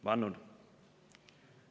"Vannun."